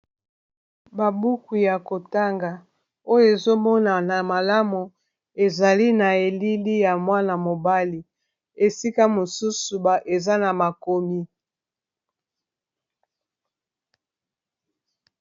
babuku ya kotanga oyo ezomona na malamu ezali na elili ya mwana mobali esika mosusu eza na makomi